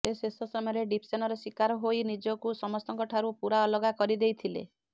ସେ ଶେଷ ସମୟରେ ଡିପେସନର ଶିକାର ହୋଇ ନିଜକୁ ସମସ୍ତଙ୍କଠାରୁ ପୂରା ଅଲଗା କରି ଦେଇଥିଲେ